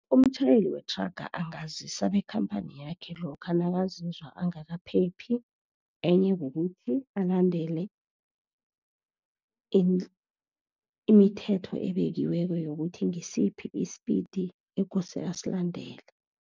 Umtjhayeli wethraga angazisa bakhampani yakhe lokha nakazizwa angakaphephi, enye kukuthi alandele imithetho ebekiweko yokuthi ngisiphi i-speed ekose asilandele.